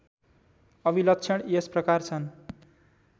अभिलक्षण यसप्रकार छन्